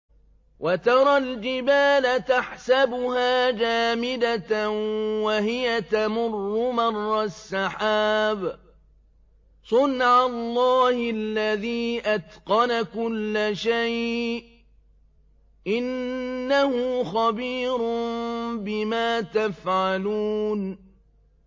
وَتَرَى الْجِبَالَ تَحْسَبُهَا جَامِدَةً وَهِيَ تَمُرُّ مَرَّ السَّحَابِ ۚ صُنْعَ اللَّهِ الَّذِي أَتْقَنَ كُلَّ شَيْءٍ ۚ إِنَّهُ خَبِيرٌ بِمَا تَفْعَلُونَ